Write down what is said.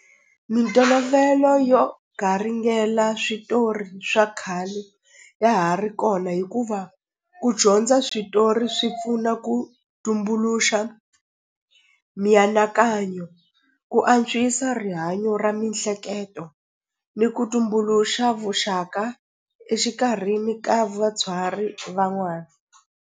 Mintolovelo yo garingela switori swa khale ya ha ri kona hikuva ku dyondza switori swi pfuna ku tumbuluxa mianakanyo ku antswisa rihanyo ra mihleketo ni ku tumbuluxa vuxaka exikarhini ka vabyari van'wana.